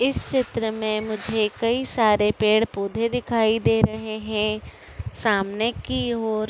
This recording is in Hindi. इस चित्र में मुझे कई सारे पेड़ पौधें दिखाई दे रहे हैं सामने की ओर --